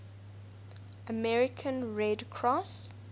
american red cross